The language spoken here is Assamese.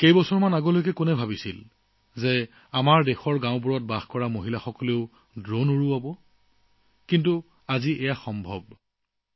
কেইবছৰমান আগলৈকে কোনে ভাবিছিল যে আমাৰ দেশৰ গ্ৰাম্য মহিলাসকলেও ড্ৰোন উৰুৱাবলৈ সক্ষম হব কিন্তু আজি সম্ভৱ হৈ উঠিছে